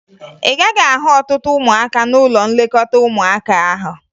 Ị gaghị ahụ ọtụtụ ụmụaka n'ụlọ nlekọta ụmụaka ahụ